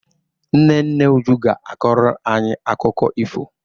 Nne nne Uju ga-akọrọ anyị akụkọ ifo